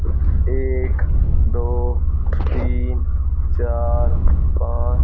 एक दो तीन चार पांच--